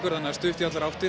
það er stutt í allar áttir